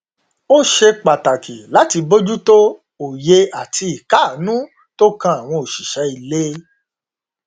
ó ṣe pàtàkì láti bójútó òye àti ìkáàánú tó kan àwọn òṣìṣẹ ilé